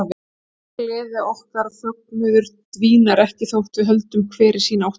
Nema gleði okkar og fögnuður dvínar ekki þótt við höldum hver í sína áttina.